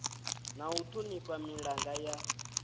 na u thonifha milanga ya